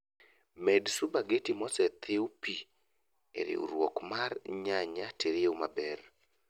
Med supageti mosethiw pii e riurwok mar nyanya tiriw maber